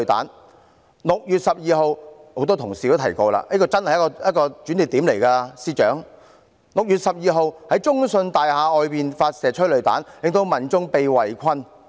很多同事也提及6月12日——司長，這一天真是一個轉捩點 ——6 月12日在中信大廈外發射催淚彈，令民眾被圍困。